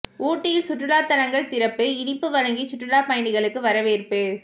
ஊட்டியில் சுற்றுலா தலங்கள் திறப்பு இனிப்பு வழங்கி சுற்றுலா பயணிகளுக்கு வரவேற்பு